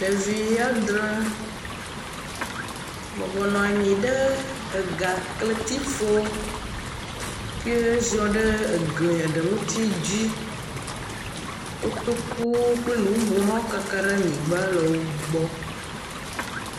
Ɖevi adre bɔbɔ nɔ anyi ɖe egakletifɔ ke ziɔ ɖe egli aɖe ŋuti dzi, kotoku kple nu bubuwo kaka ɖe anyigba le wo gbɔ.